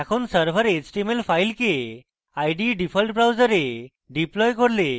এখন server html file ide default browser deploy করলে